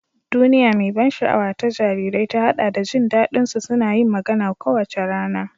Duniya mai ban sha'awa ta jarirai ta haɗa da jin daɗin jin su suna yin magana kowace rana.